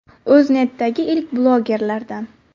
O‘zNetdagi ilk blogerlardan.